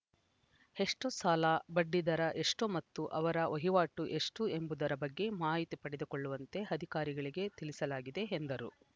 ಎಷ್ಟುಸಾಲ ಬಡ್ಡಿ ದರ ಎಷ್ಟುಮತ್ತು ಅವರ ವಹಿವಾಟು ಎಷ್ಟುಎಂಬುದರ ಬಗ್ಗೆ ಮಾಹಿತಿ ಪಡೆದುಕೊಳ್ಳುವಂತೆ ಅಧಿಕಾರಿಗಳಿಗೆ ತಿಳಿಸಲಾಗಿದೆ ಎಂದರು